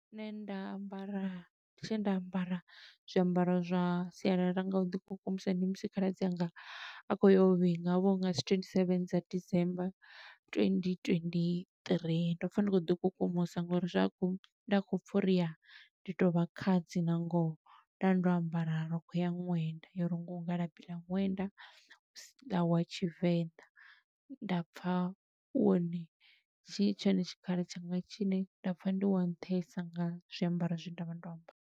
Nṋe nda ambara tshe nda ambara zwiambaro zwa sialala nga u ḓi kukumusa ndi musi khaladzi anga, a khou yo u vhinga. Ho vha hunga dzi twenty seven dza December twenty twenty three. Ndo pfa ndi khou ḓi kukumusa, ngo uri zwa khou, nda khou pfa uri ya, ndi to vha khadzi nga ngoho. Nda ndo ambara rokho ya ṅwenda, yo rungiwaho nga labi ḽa ṅwenda wa Tshivenḓa. Nda pfa u wone, tshi tshone tshikhala tshanga tshi ne nda pfa ndi wa nṱhesa nga zwiambaro zwe nda vha ndo ambara.